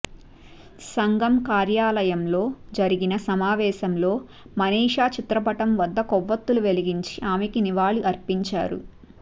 సంఘ కార్యాలయంలో జరిగిన సమావేశంలో మనీషా చిత్రపటం వద్ద కొవ్వొత్తులు వెలిగించి ఆమెకు నివాళి అర్పించారు